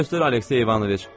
Yolu göstər, Aleksey İvanoviç.